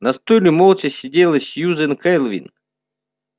на стуле молча сидела сьюзен кэлвин